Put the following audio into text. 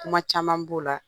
Kuma caman b'o la